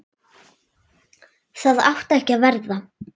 Það átti ekki að verða.